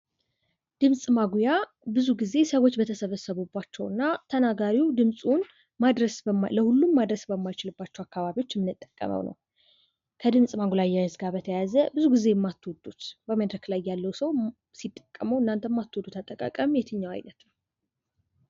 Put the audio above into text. ድምፅ ማጉያ ብዙ ግዜ ሰዎች በተሰበሰቡባቸው እና ተናጋሪው ድምፁን ለሁሉም ማድረስ በማይችልባቸው አካባቢ የሚጠቀመው ነው። ከድምፅ ማጉያ ጋ በተያያዘ ብዙ ግዜ የማትወዱት በመደረክ ላይ ያለ ሰው ሲጠቀሙት እናንተ የማትወዱት አጠቃቀም የትኛው አይነት ነው?